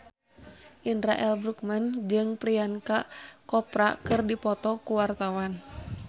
Indra L. Bruggman jeung Priyanka Chopra keur dipoto ku wartawan